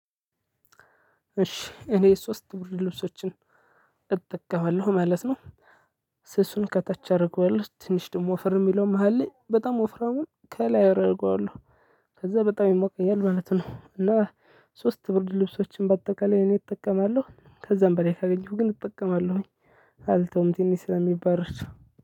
እሺ እኔ ሶስት ብርድ ልብሶችን እጠቀማለሁ ማለት ነው። ስሱን ከታች አደርገዋለው ትንሽ ደግሞ ወፈር የሚለው መሃል ላይ በጣም ወፍራሙን ከላይ አደርገዋለሁ። ከዛ በጣም ይሞቀኘል ማለት ነው። እና ሶስት ብርድ ልብሶችን በአጠቃላይ እኔ እጠቀማለሁ ከዛም በላይ ካገኘሁ ግን እጠቀማለሁኝ። አልተውም ትንሽ ስለሚባረድ